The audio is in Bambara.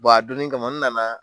Bɔn a donnin kama , n na na.